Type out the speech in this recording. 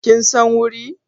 Kin san wuri?